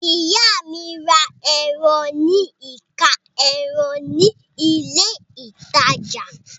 Ìyá mi ra ẹran ní ẹ̀ka ẹran ní ilé-ìtajà.